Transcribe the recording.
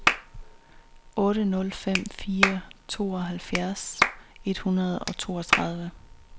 otte nul fem fire tooghalvfjerds et hundrede og toogtredive